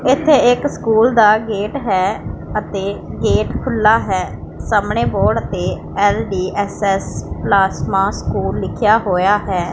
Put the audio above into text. ਇੱਥੇ ਇਕ ਸਕੂਲ ਦਾ ਗੇਟ ਹੈ ਅਤੇ ਗੇਟ ਖੁੱਲਾ ਹੈ ਸਾਹਮਣੇ ਬੋਰਡ ਤੇ ਐਲ_ਡੀ_ਐਸ_ਐਸ ਪਲਾਸਮਾ ਸਕੂਲ ਲਿਖਿਆ ਹੋਇਆ ਹੈ।